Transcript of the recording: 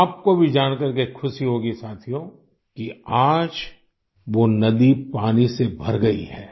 आप को भी जानकर के खुशी होगी साथियों कि आज वो नदी पानी से भर गई है